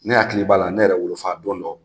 Ne hakili b'a la ne yɛrɛ wolo don dɔ